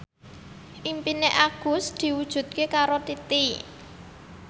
impine Agus diwujudke karo Titi